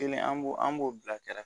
Kelen an b'o an b'o bila kɛrɛ